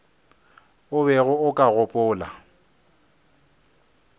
o bego o ka gopola